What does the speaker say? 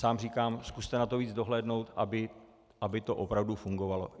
Sám říkám, zkuste na to víc dohlédnout, aby to opravdu fungovalo.